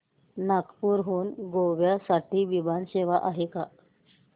नागपूर हून गोव्या साठी विमान सेवा आहे का